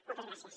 moltes gràcies